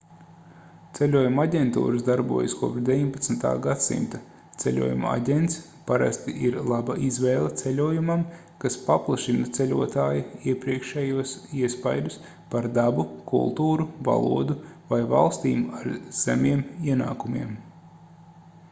ceļojumu aģentūras darbojas kopš 19. gadsimta ceļojumu aģents parasti ir laba izvēle ceļojumam kas paplašina ceļotāja iepriekšējos iespaidus par dabu kultūru valodu vai valstīm ar zemiem ienākumiem